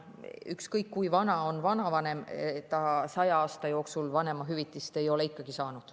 Ükskõik, kui vana on vanavanem, 100 aasta jooksul ei ole ta ikkagi vanemahüvitist saanud.